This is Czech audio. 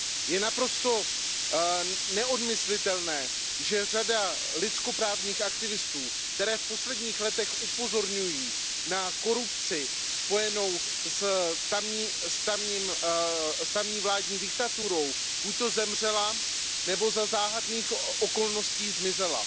Je naprosto nemyslitelné, že řada lidskoprávních aktivistů, kteří v posledních letech upozorňují na korupci spojenou s tamní vládní diktaturou, buď zemřela, nebo za záhadných okolností zmizela.